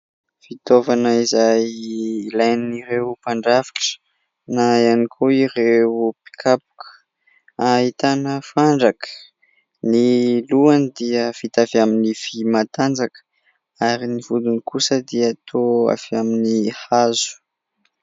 Fitaovana izay ilain'ireo mpandrafitra na ihany koa ireo mpikapoka ahitana fandraka, ny lohany dia vita avy amin'ny vy matanjaka ary ny vodiny kosa dia toa avy amin'ny hazo.